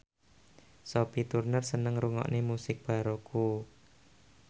Sophie Turner seneng ngrungokne musik baroque